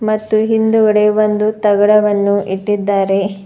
ಮತ್ತು ಹಿಂದುಗಡೆ ಒಂದು ತಗಡವನ್ನು ಇಟ್ಟಿದ್ದಾರೆ.